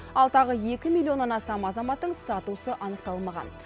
ал тағы екі миллионнан астам азаматтың статусы анықталмаған